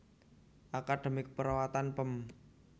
Akademi Keperawatan Pem